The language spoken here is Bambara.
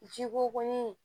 Ji ko kɔni